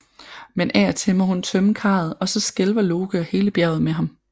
Men af og til må hun tømme karret og så skælver Loke og hele bjerget med ham